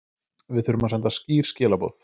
Við þurfum að senda skýr skilaboð